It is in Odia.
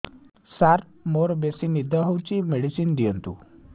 ସାର ମୋରୋ ବେସି ନିଦ ହଉଚି ମେଡିସିନ ଦିଅନ୍ତୁ